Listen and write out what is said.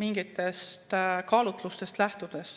mingitest kaalutlustest lähtudes.